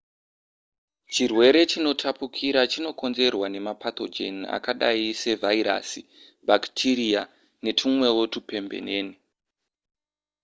chirwere chinotapurika chinokonzerwa nemapathogen akadai sevhairasi bhakitiriya netumwewo tupembenene